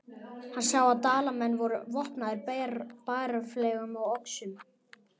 Hann sá að Dalamenn voru vopnaðir bareflum og öxum.